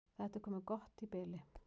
Þetta er komið gott í bili.